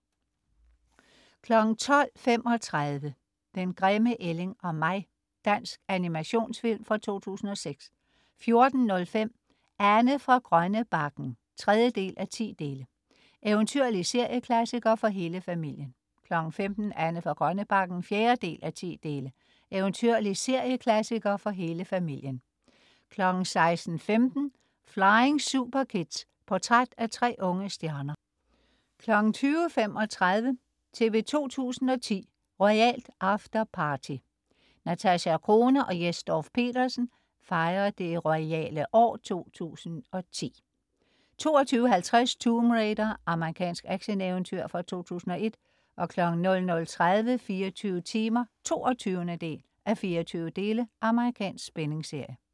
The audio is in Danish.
12.35 Den grimme ælling og mig. Dansk animationsfilm fra 2006 14.05 Anne fra Grønnebakken 3:10. Eventyrlig serieklassiker for hele familien 15.00 Anne fra Grønnebakken 4:10. Eventyrlig serieklassiker for hele familien 16.15 Flying Superkids. Portræt af tre unge stjerner 20.35 TV 2 010: Royalt afterparty. Natasja Crone og Jes Dorph-Petersen fejrer det royale år 2010, hvor et af højdepunkterne 22.50 Tomb Raider. Amerikansk actioneventyr fra 2001 00.30 24 timer 22:24. Amerikansk spændingsserie